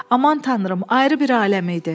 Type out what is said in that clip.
Aman tanrım, ayrı bir aləm idi.